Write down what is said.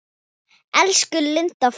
Elsku Linda frænka.